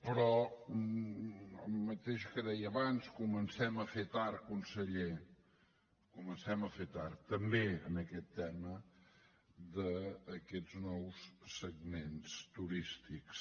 però el mateix que deia abans comencem a fer tard conseller comencem a fer tard també en aquest tema d’aquests nous segments turístics